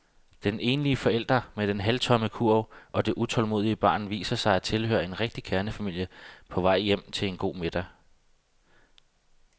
Den enlige forælder med den halvtomme kurv og det utålmodige barn viser sig at tilhøre en rigtig kernefamilie på vej hjem til en god middag.